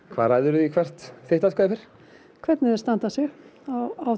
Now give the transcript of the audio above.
hvað ræður þig hvert atkvæði fer hvernig þau standa sig á